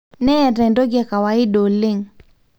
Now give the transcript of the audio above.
neeta entoki ekawaidi oleng